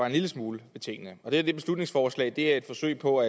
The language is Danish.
en lille smule ved tingene og det er det beslutningsforslag er et forsøg på